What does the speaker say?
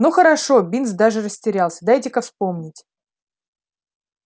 ну хорошо бинс даже растерялся дайте-ка вспомнить